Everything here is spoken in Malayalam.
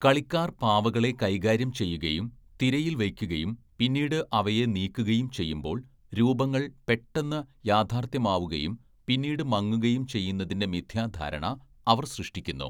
കളിക്കാർ പാവകളെ കൈകാര്യം ചെയ്യുകയും തിരയിൽ വയ്ക്കുകയും പിന്നീട് അവയെ നീക്കുകയും ചെയ്യുമ്പോൾ രൂപങ്ങൾ പെട്ടെന്ന് യാഥാർത്ഥ്യമാവുകയും പിന്നീട് മങ്ങുകയും ചെയ്യുന്നതിന്റെ മിഥ്യാധാരണ അവർ സൃഷ്ടിക്കുന്നു.